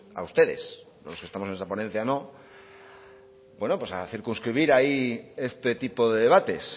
a ustedes los que estamos en esa ponencia no pues a circunscribir ahí este tipo de debates